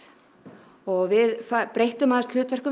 og við breyttum aðeins hlutverkum